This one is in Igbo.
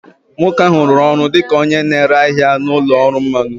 Nwoke ahụ rụrụ ọrụ dị ka onye na-ere ahịa na ụlọ ọrụ mmanụ